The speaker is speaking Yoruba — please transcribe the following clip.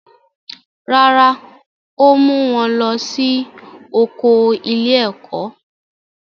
Rárá, ó mú wọn lọ sí oko ilé-ẹ̀kó.